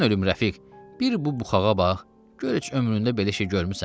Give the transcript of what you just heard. Mən ölüm Rəfiq, bir bu buxağa bax, gör heç ömründə belə şey görmüsən?